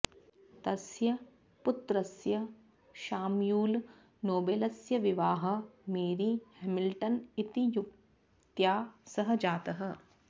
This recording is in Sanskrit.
तस्य पुत्रस्य शाम्यूल् नोबेलस्य विवाहः मेरी हेमिल्टन् इति युवत्या सह जातः